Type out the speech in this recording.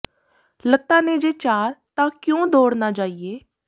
ਲੱਤਾਂ ਨੇ ਜੇ ਚਾਰ ਤਾਂ ਕਿਉਂ ਦੌੜ ਨਾ ਜਾਈਏ